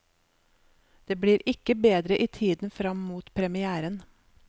Det blir ikke bedre i tiden frem mot premièren.